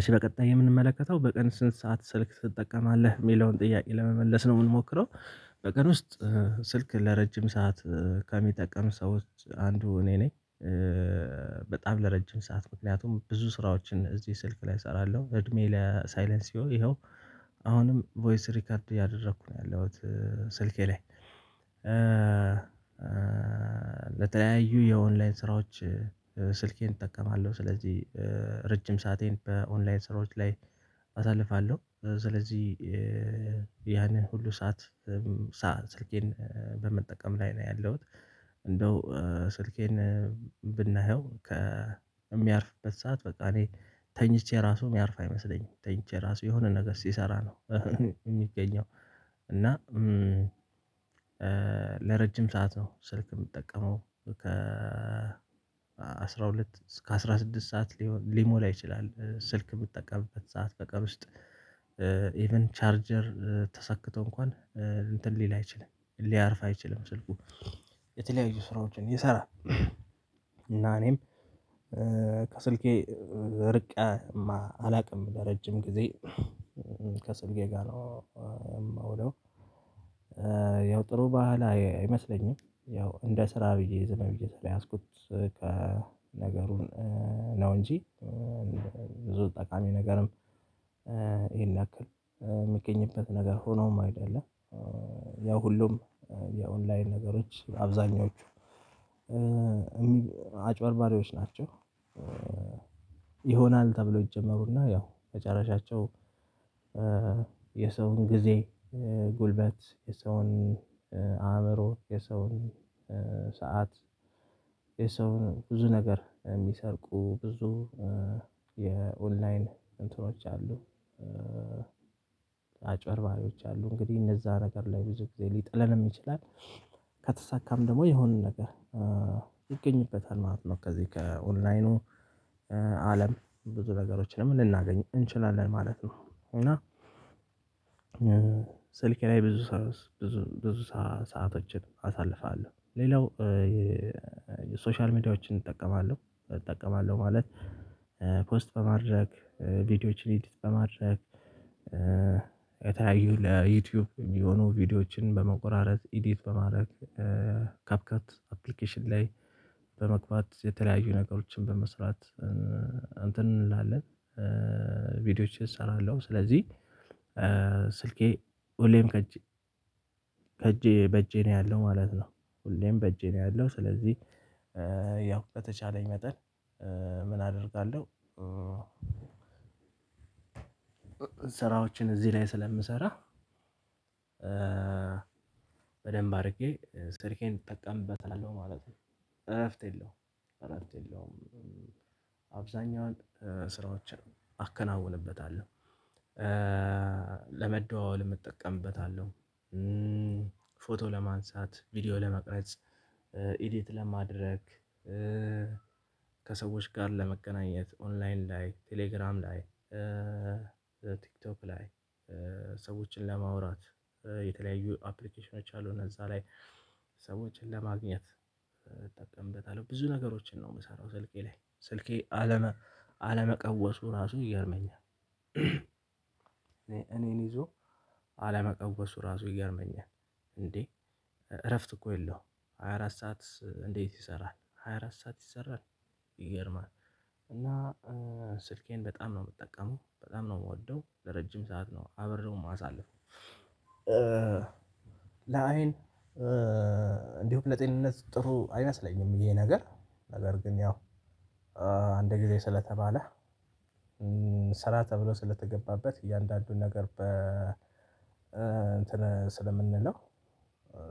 እሺ በቀጣይ የምንመለከተው በቀን ስንት ሰዓት ስልክ ትጠቀማለህ የሚለውን ጥያቄ ለመመለስ ነው የምንሞክረው። በቀን ውስጥ ስልክ ለረጅም ሰዓት ከሚጠቀም ሰዎች አንዱ እኔ ነኝ። በጣም ለረጅም ሰዓት ምክንያቱም ብዙ ስራዎችን እዚህ ስልክ ላይ እሰራለሁ እድሜ ለሳይለንሲወ ይኸው አሁንም ቮይስ ሪከርድ ያደረኩ ነው ያለሁት። ስልኬ ላይ ለተለያዩ የኦንላይን ስራዎች ስልኬን እጠቀማለሁ። ስለዚህ ረጅም ሰአቴን በኦንላይን ስራዎች ላይ አሳልፋለሁ። ስለዚህ ያንን ሁሉ ሰዓት ሰዓት ስልኬን በመጠቀም ላይ ነው ያለሁት። እንደው ስልኬን ብናየው ከሚያርፍበት ሰዓት በቃ እኔ ተኝቼ ራሱ የሚያርፍ አይመስለኝም ተኝቼ ራሱ የሆነ ነገር ሲሰራ ነው የሚገኘው። እና ለረጅም ሰዓት ነው ስልክ የምጠቀመው። ከ አስራ ሁለት እስከ አስራ ስድስት ሰዓት ሊሆን ሊሞላ ይችላል። ስልክ ምጠቀምበት ሰዓት በቀን ውስጥ። ኢቭን ቻርጀር ተሰክቶ እንኳን እንትን ሊል አይችልም ሊያርፍ አይችልም ስልኩ። የተለያዩ ስራዎችን ይሰራል። እና እኔም ከስልኬ ርቀህ አላውቅም ለረጅም ጊዜ ከስልኬ ጋር ነው የማውለው። ያው ጥሩ ባህል አይመስለኝም ያው እንደ ስራ ብዬ ዝም ብዬ ስለያዝኩት ነገሩን ነው እንጂ ብዙ ጠቃሚ ነገርም። ይሄን ያክል የሚገኝበት ነገር ሆኖም አይደለ። ያው ሁሉም የኦንላይን ነገሮች በአብዛኞቹ አጭበርባሪዎች ናቸው። ይሆናል ተብለው ይጀመሩና ያው መጨረሻቸው የሰውን ጊዜ ጉልበት የሰውን አእምሮ የሰውን ሰዓት የሰውን ብዙ ነገር የሚሰርቁ ብዙ የኦንላይን እንትኖች አሉ። አጭበርባሪዎች አሉ እንግዲህ እነዛ ነገር ላይ ብዙ ጊዜ ሊጥለንም ይችላል። ከተሳካም ደግሞ የሆነ ነገር ይገኝበታል ማለት ነው። ከዚህ ከኦንላይኑ አለም ብዙ ነገሮችንም ልናገኝ እንችላለን ማለት ነው። እና ስልኬ ላይ ብዙ ብዙ ብዙ ሰአቶችን አሳልፋለሁ። ሌላው የሶሻል ሚዲያዎችን እጠቀማለሁ እጠቀማለሁ ማለት ፖስት በማድረግ ቪዲዮዎችን ኤዲት በማድረግ የተለያዩ ለዩቲዩብ የሚሆኑ ቪዲዮዎችን በመቆራረጥ ኢዲት በማድረግ ካፕከት አፕሊኬሽን ላይ በመግባት የተለያዩ ነገሮችን በመስራት እንትን እንላለን ቪዲዮዎችን እሰራለሁ። ስለዚህ ስልኬ ሁሌም ከእጄ ከእጄ በእጄ ነው ያለው ማለት ነው። ሁሌም በእጄ ነው ያለው ስለዚህ ያው በተቻለኝ መጠን ምን አደርጋለሁ? ስራዎችን እዚህ ላይ ስለምሰራ በደንብ አድርጌ ስልኬን እጠቀምበታለሁ ማለት ነው። እረፍት የለውም። እረፍት የለውም። አብዛኛዋን ስራዎችን አከናውንበታለሁ። ለመደዋወልም እጠቀምበታለሁ። ፎቶ ለማንሳት ቪዲዮ ለመቅረጽ ኤዲት ለማድረግ ከሰዎች ጋር ለመቀናኘት ኦንላይን ላይ ቴሌግራም ላይ ቲክቶክ ላይ ሰዎችን ለማውራት የተለያዩ አፕሊቴሽኖች አሉ እነዛ ላይ ሰዎችን ለማግኘት እጠቀምበታለሁ ብዙ ነገሮችን ነው የምሰራው ስልኬ ላይ ስልኬ አለመቀወሱ ራሱን ይገርመኛል። እኔን ይዞ አለመቀወሱ ራሱ ይገርመኛል። እንዴ? እረፍት እኮ የለውም ሃያ አራት ሰዓት እንዴት ይሰራል? ሃያ አራት ሰዓት ይሰራል። ይገርማል። እና ስልኬን በጣም ነው የምጠቀመው በጣም ነው የምወደው ለረጅም ሰዓት ነው አብሬው የማሳልፈው። ለአይን እንዲሁም ለጤንነት ጥሩ አይመስለኝም። ይሄ ነገር ነገር ግን ያው አንድ ጊዜ ስለተባለ ስራ ተብሎ ስለተገባበት እያንዳንዱን ነገር በ እንትን ስለምንለው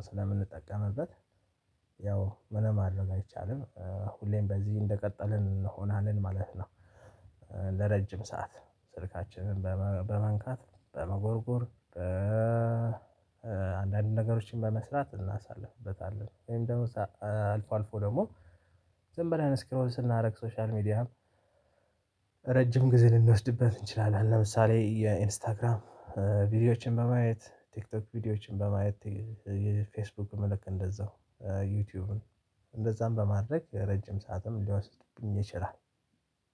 ስለምንጠቀምበት ምንም ማድረግ አይቻልም ሁሌም በዚህ እንደቀጠልን እንሆናለን ማለት ነው። ለረጅም ሰዓት ስልካችንን በመንካት በመጎርጎር በአንዳንድ ነገሮችን በመስራት እናሳልፍበታለን ወይም ደግሞ አልፎ አልፎ ደግሞ ዝም ብለን ስክሮል ስናደርግ ሶሻል ሚዲያም ረጅም ጊዜ ልንወስድበት እንችላለን። ለምሳሌ የኢንስታግራም ቪዲዮዎችን በማየት ቲክቶክ ቪዲዮዎችን በማየት የፌስቡክ ምልክት እንደዛው ዩቲዩብም እንደዛም በማድረግ ረጅም ሰዓትም ሊወስድብኝ ይችላል።